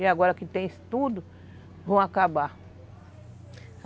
E agora que tem tudo, vão acabar.